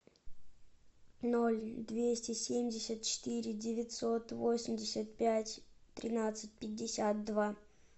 ноль двести семьдесят четыре девятьсот восемьдесят пять тринадцать пятьдесят два